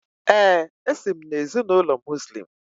Ee, esi m na ezinụlọ Muslim